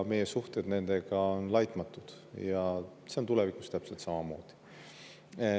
Meie suhted nendega on laitmatud ja see on tulevikus täpselt samamoodi.